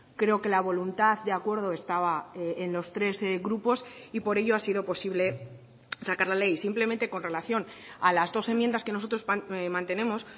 creo que la voluntad de acuerdo estaba en los tres grupos y por ello ha sido posible sacar la ley simplemente con relación a las dos enmiendas que nosotros mantenemos